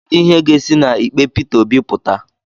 Kedu ihe ga-esi na ikpe Pita Obi pụta?